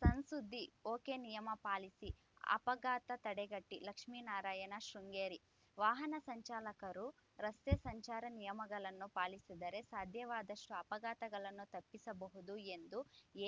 ಸಣ್‌ ಸುದ್ದಿ ಒಕೆನಿಯಮ ಪಾಲಿಸಿ ಅಪಘಾತ ತಡೆಗಟ್ಟಿ ಲಕ್ಷ್ಮಿನಾರಾಯಣ ಶೃಂಗೇರಿ ವಾಹನ ಚಾಲಕರು ರಸ್ತೆ ಸಂಚಾರ ನಿಯಮಗಳನ್ನು ಪಾಲಿಸಿದರೆ ಸಾಧ್ಯವಾದಷ್ಟುಅಪಘಾತಗಳನ್ನು ತಪ್ಪಿಸಬಹುದು ಎಂದು